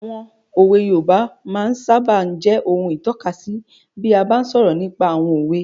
Àwọn òwe yoòbá máa sábà n jẹ́ ohun ìtọ́kasí bí a bá n sọ̀rọ̀ nípa àwọn òwe